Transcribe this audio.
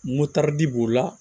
Motɛri b'o la